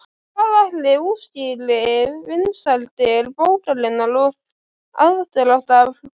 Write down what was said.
En hvað ætli útskýri vinsældir bókarinnar og aðdráttarafl Gísla?